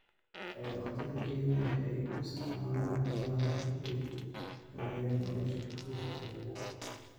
Xoolo-dhaqatada Kenya waxay u isticmaalaan xoolaha hab ay ku horumariyaan nolosha qoysaskooda.